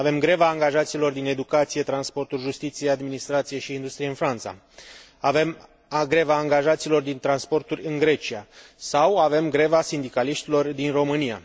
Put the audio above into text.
Avem greva angajaților din educație, transporturi, justiție, administrație și industrie în Franța, avem greva angajaților din transporturi în Grecia, sau avem greva sindicaliștilor din România.